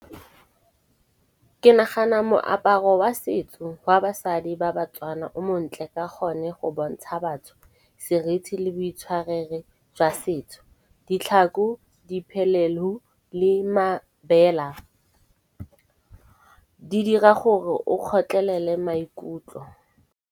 Ke nagana moaparo wa setso wa basadi ba batswana o montle ka gonne, go bontsha batho serithi le boitshwarere jwa setso. Ditlhako, diphelelu le mabela di dira gore o kgotlelele maikutlo.